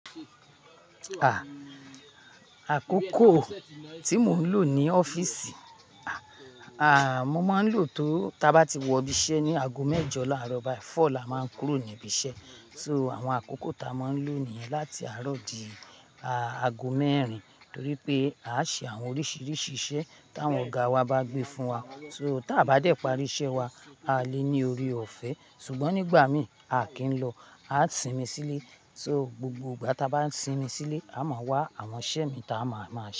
À, àkókò tí mo ń lò ní ọ́fíìsì, à, à mo máa ń lò tó, tí a bá ti wọ ibi iṣẹ́ ní aago mẹ́jọ láàárọ̀, báyìí four là má n kúrò ní ibi iṣẹ́. So àwọn àkókò ta a máa ń lò nìyẹn láti àárọ̀ di, à aago mẹ́rin. Torí pé à ṣe àwọn oríṣiríṣi iṣẹ́ táwọn ọ̀gá wa bá gbé fún wa. So tí a bá dé parí iṣẹ́ wa, a lé ní ori ọ̀fẹ́. Sugbọn nígbà mí, a kì í lọ, a á sinmi sílè. So gbogbo ìgbà tí a bá sinmi sílè, a máa wá àwọn iṣẹ́ mi ta a máa, máa ṣe.